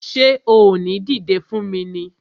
Ṣé o ò ní dìdé fún mi ni!